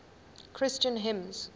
christian hymns